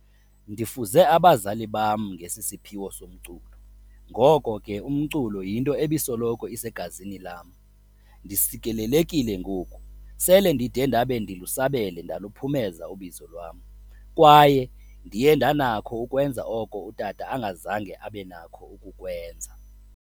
Ndifuze abazali bam ngesi siphiwo somculo, ngoko ke umculo yinto ebisoloko isegazini lam. Ndisikelelekile ngoku sele ndide ndabe ndilusabele ndaluphumeza ubizo lwam, kwaye ndiye ndanakho ukwenza oko utata angazange abenakho ukukwenza."